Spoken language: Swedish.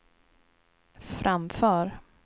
framför